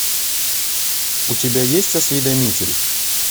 у тебя есть осведомитель